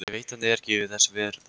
Ég veit hann er ekki þess verður.